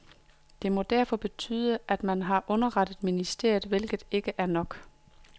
Det må derfor betyde at man har underrettet ministeriet, hvilket ikke er nok.